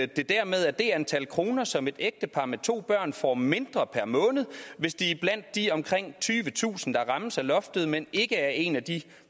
det dermed er det antal kroner som et ægtepar med to børn får mindre per måned hvis de er blandt de omkring tyvetusind der rammes af loftet men ikke er en af de